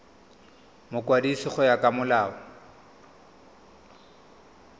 mokwadisi go ya ka molao